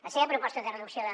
la seva proposta de reducció de